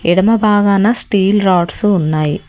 ఎడమ బాగాన steel rods ఉన్నాయి.